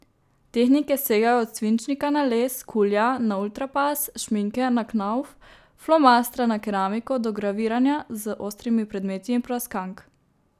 Tehnike segajo od svinčnika na les, kulija na ultrapas, šminke na knauf, flomastra na keramiko do graviranja z ostrimi predmeti in praskank.